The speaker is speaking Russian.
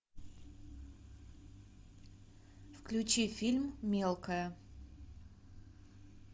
включи фильм мелкая